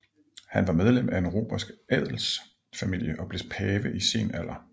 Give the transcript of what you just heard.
Han var medlem af en romersk adelsfamilie og blev pave i sen alder